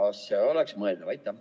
Kas see oleks mõeldav?